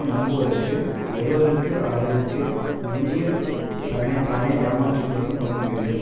நம்புவதற்கு ஒருவருக்கு அளவிற்கு மிஞ்சிய தன்னை தானே ஏமாற்றி கொள்ளும் குணம் வேண்டும்